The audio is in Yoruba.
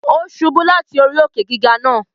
Ó ṣubú láti orí òkè-gígà náà